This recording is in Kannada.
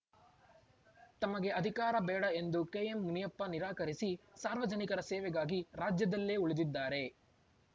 ತಮಗೆ ಅಧಿಕಾರ ಬೇಡ ಎಂದು ಕೆಎಂಮುನಿಯಪ್ಪ ನಿರಾಕರಿಸಿ ಸಾರ್ವಜನಿಕರ ಸೇವೆಗಾಗಿ ರಾಜ್ಯದಲ್ಲೇ ಉಳಿದಿದ್ದಾರೆ